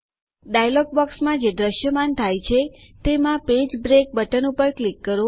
dialog બોક્સમાં જે દ્રશ્યમાન થાય છે તેમાં પેજ બ્રેક બટન ઉપર ક્લિક કરો